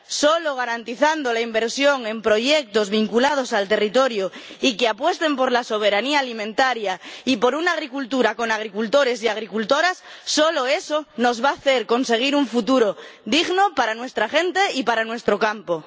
Solo garantizando la inversión en proyectos vinculados al territorio y que apuesten por la soberanía alimentaria y por una agricultura con agricultores y agricultoras, solo eso nos va a hacer conseguir un futuro digno para nuestra gente y para nuestro campo.